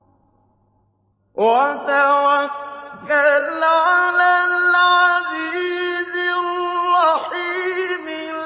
وَتَوَكَّلْ عَلَى الْعَزِيزِ الرَّحِيمِ